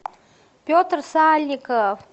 петр сальников